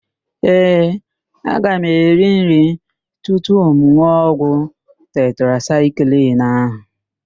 Ee, aga m eri nri tupu m n̄ụọ ọgwụ tetrasaịklin ahụ.